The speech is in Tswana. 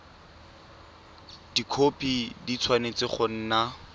dikhopi di tshwanetse go nna